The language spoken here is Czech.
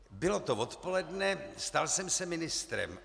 Bylo to odpoledne, stal jsem se ministrem.